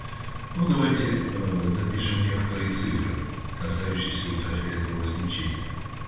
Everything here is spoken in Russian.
ну давайте запишем некоторые цифры касающиеся ультрафиолетового излучения